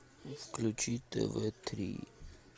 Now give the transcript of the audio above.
включи тв три